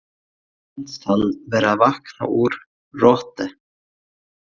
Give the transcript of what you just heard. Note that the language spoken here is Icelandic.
Honum finnst hann vera að vakna úr roti.